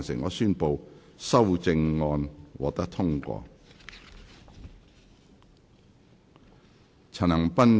我宣布修正案獲得通過。